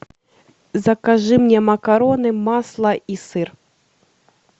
закажи мне макароны масло и сыр